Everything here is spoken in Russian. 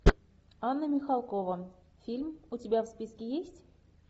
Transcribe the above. анна михалкова фильм у тебя в списке есть